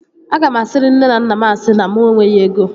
Aga m asiri nne na nna m asị na mụ enweghị ego